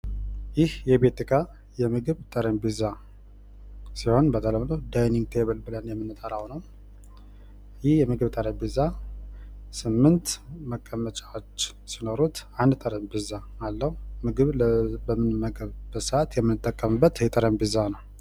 ይህ የቤት እቃ የምግብ ጠረንጴዛ ሲሆን በተለምዶ ዲኒንግ ቴብል በመባል የሚታዎቅ ሲሆን፤ ይህ የምግብ ጠረንጴዛ ስምንት መቀመጫዎች ሲኖሩት አንድ ጠረንጴዛ አለው። ምግብ ስንመገብ የምንጠቀምበት ጠረንጴዛ ነው።